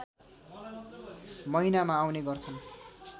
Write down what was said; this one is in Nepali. महिनामा आउने गर्छन्